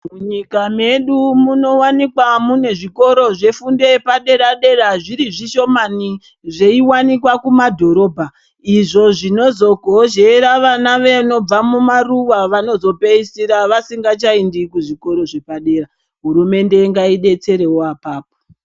Mu nyika yedu muno wanikwa mune zvikora zve fundo yepa dera dera zviri zvishomani zvei wanikwa ku madhorobha izvo zvinozo gozhera vana vanobva mu maruva vanozo pedzisira vasingacha endi ku zvikoro zve padera hurumende ngai detserewo apapo.